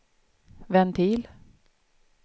ventil